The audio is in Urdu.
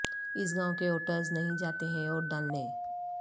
اس گائو ں کے ووٹرس نہیں جاتے ہیں ووٹ ڈالنے